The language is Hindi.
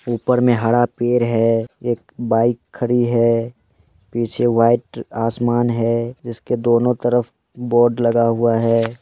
ऊपर मे हरा पेड़ है एक बाइक खड़ी है पीछे व्हाइट आसमान है इसके दोनों तरफ बोर्ड लगा हुआ है।